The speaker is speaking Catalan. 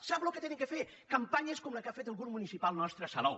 sap el que han de fer campanyes com la que ha fet el grup municipal nostre a salou